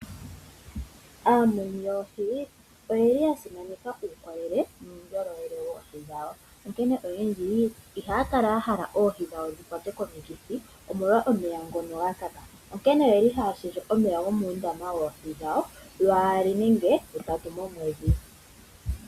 Aamuni yoohi oyeli ya simaneka uukolele nuundjolowele woohi dhawo. Onkene oyendji ihaya kala ya hala oohi dhawo dhi kwatwe komikithi omolwa omeya ngo ga kaka, onkene oye li haya shendje omeya gomuundama woohi dhawo lwaali nenge lutatu momwedhi.